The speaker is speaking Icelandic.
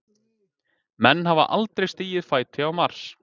Menn hafa aldrei stigið fæti á Mars.